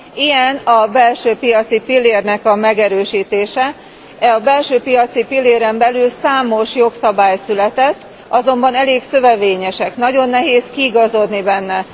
Ilyen a belső piaci pillérnek a megerősítése, a belső piaci pilléren belül számos jogszabály született, azonban elég szövevényesek, nagyon nehéz kiigazodni benne.